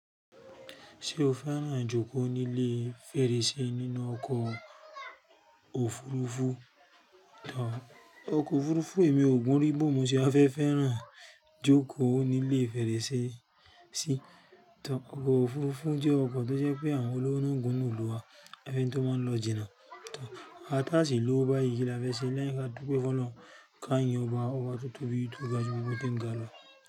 Ṣé o fẹ́ràn ijókòó ní ilé fèrèsé nínú ọkọ̀ òfurufú? Ọkọ̀ òfurufú emi ò gún rí bó mo ṣe a fẹ́ fẹ́ràn jókòó ní ilé fèrèsé sí. Ọkọ̀ òfurufú jẹ́ ọkọ̀ tó jẹ́ pé àwọn olórin gùn nù ìlú wa, ẹni tó máa lọ jìnà. Àwa tá sì lówó bá yí kí la fẹ́ ṣe lẹ́yìn kí a dúpẹ́ fún Ọlọ́run ká yìn ọba, ọba tó tóbi tó ga ju gbogbo tó ń ga lọ.